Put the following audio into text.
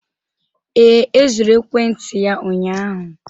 Ee, e zuru ekwentị ya ụnyaahụ.